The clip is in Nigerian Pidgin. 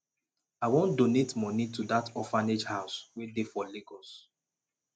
i wan donate money to dat orphanage house wey dey for lagos